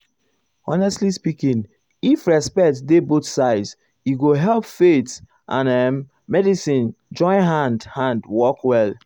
honestly speaking if respect dey both sides e go help faith and um ehm medicine join hand hand work well.